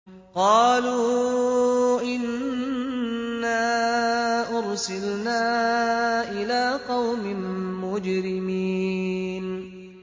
قَالُوا إِنَّا أُرْسِلْنَا إِلَىٰ قَوْمٍ مُّجْرِمِينَ